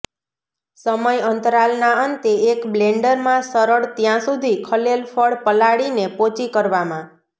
સમય અંતરાલ ના અંતે એક બ્લેન્ડર માં સરળ ત્યાં સુધી ખલેલ ફળ પલાળીને પોચી કરવામાં